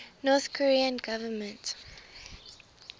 north korean government